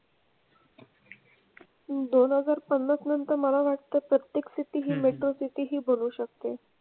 दोन हजार पन्नास नंतर मला वाटतं प्रत्येक city हि metro city ही बनू शकते.